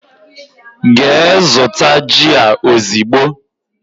Gee zụta jị a ozigbo!!!